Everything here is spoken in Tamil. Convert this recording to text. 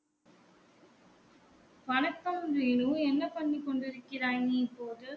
வணக்கம் வேணு என்ன பண்ணி கொண்டு இருக்கிறாய் நீ இப்போது